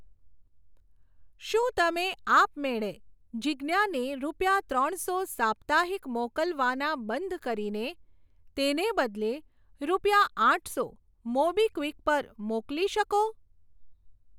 શું તમે આપમેળે જીજ્ઞાને રૂપિયા ત્રણસો સાપ્તાહિક મોકલવાના બંધ કરીને તેને બદલે, રૂપિયા આઠસો મોબીક્વિક પર મોકલી શકો?